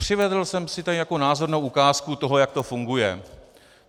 Přivezl jsem si tady jako názornou ukázku toho, jak to funguje.